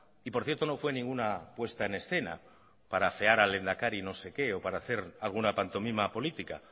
y por cierto no fue ninguna puesta en escena para afear al lehendakari no sé qué o para hacer alguna pantomima política